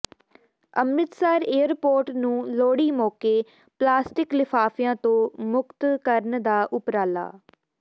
Amritsar airport ਨੂੰ ਲੋਹੜੀ ਮੌਕੇ plastic ਲਿਫਾਫਿਆਂ ਤੋਂ ਮੁਕਤ ਕਰਨ ਦਾ ਉਪਰਾਲਾ